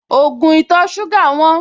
Ògùn ìtọ̀-ṣúgà wọ́n